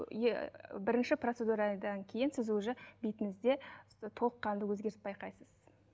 бірінші процедурадан кейін сіз уже бетіңізде толыққанды өзгеріс байқайсыз